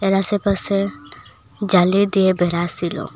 এর আশেপাশে জালি দিয়ে বেড়া সিলো।